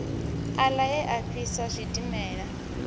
aḽa e a fhisa zwidimela